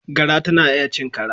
Gara tana iya cin kara.